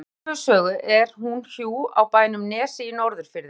Þegar hér er komið sögu er hún hjú á bænum Nesi í Norðurfirði.